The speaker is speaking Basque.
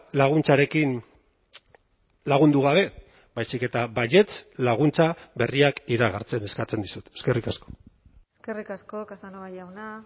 laguntzarekin lagundu gabe baizik eta baietz laguntza berriak iragartzen eskatzen dizut eskerrik asko eskerrik asko casanova jauna